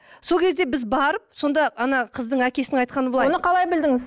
сол кезде біз барып сонда ана қыздың әкесінің айтқаны былай оны қалай білдіңіз